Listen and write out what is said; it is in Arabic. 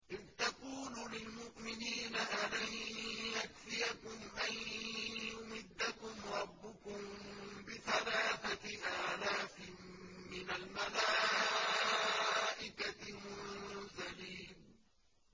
إِذْ تَقُولُ لِلْمُؤْمِنِينَ أَلَن يَكْفِيَكُمْ أَن يُمِدَّكُمْ رَبُّكُم بِثَلَاثَةِ آلَافٍ مِّنَ الْمَلَائِكَةِ مُنزَلِينَ